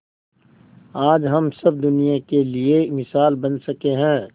आज हम सब दुनिया के लिए मिसाल बन सके है